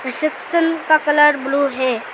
Reception का colour blue है।